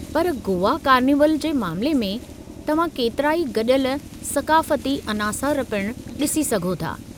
पर गोवा कार्निवल जे मामले में, तव्हां केतिराई गॾियल सक़ाफ़ती अनासर पिणु ॾिसी सघो था।